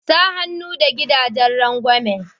Sa hannu da gidajen rangwamin.